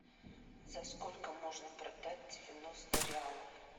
за сколько можно продать девяносто реалов